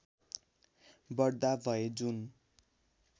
बढ्दा भए जुन